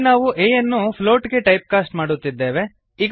ಇಲ್ಲಿ ನಾವು a ಯನ್ನು ಫೋಟ್ ಗೆ ಟೈಪ್ ಕಾಸ್ಟ್ ಮಾಡುತ್ತಿದ್ದೇವೆ